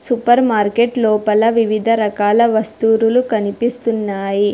Super market లోపల వివిధ రకాల వస్తూరులు కనిపిస్తున్నాయి.